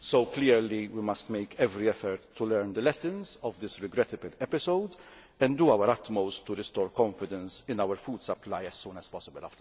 Clearly we must make every effort to learn the lessons of this regrettable episode and do our utmost to restore confidence in our food supply as soon as possible.